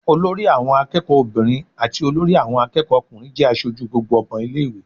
Olori àwọn akẹ́kọ̀ọ́ obìnrin àti olórí àwọn akẹ́kọ̀ọ́ ọkùnrin jẹ́ aṣojú gbogbo ọmọ ilé ìwé.